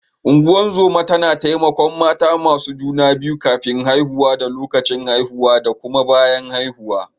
Ungozoma tana taimakon mata masu juna biyu kafin haihuwa da lokacin haihuwa da kuma bayan haihuwa.